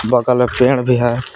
बगल में पेड़ भी है।